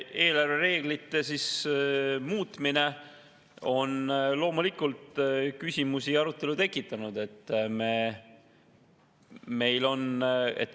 Eelarvereeglite muutmine on loomulikult küsimusi ja arutelu tekitanud.